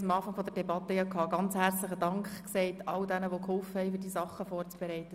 Ich möchte nochmals all jenen danken, die geholfen haben, diese Session vorzubereiten.